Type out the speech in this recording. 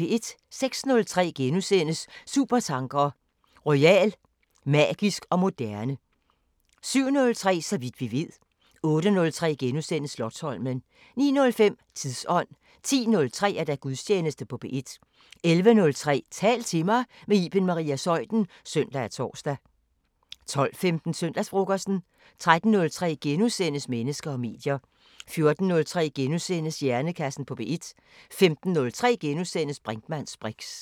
06:03: Supertanker: Royal; magisk og moderne * 07:03: Så vidt vi ved 08:03: Slotsholmen * 09:05: Tidsånd 10:03: Gudstjeneste på P1 11:03: Tal til mig – med Iben Maria Zeuthen (søn og tor) 12:15: Søndagsfrokosten 13:03: Mennesker og medier * 14:03: Hjernekassen på P1 * 15:03: Brinkmanns briks *